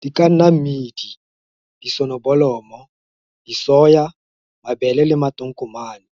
Di ka nna mmidi, disonobolomo, disoya, mabele le matonkomane.